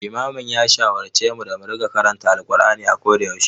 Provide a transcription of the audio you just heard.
Limamin ya shawarce mu da mu riƙa karanta Alqur'ani a koda yaushe.